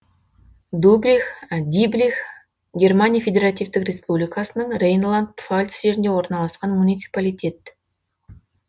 диблих германия федеративтік республикасының рейнланд пфальц жерінде орналасқан муниципалитет